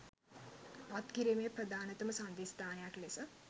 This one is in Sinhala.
පත් කිරීමේ ප්‍රධානතම සංධිස්ථානයක් ලෙස